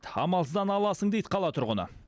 амалсыздан аласың дейді қала тұрғыны